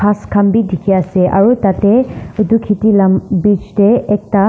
kas kan b diki ase aro tate etu kheti la bhij de ekta.